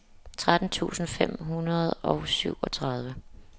tretten tusind fem hundrede og syvogtredive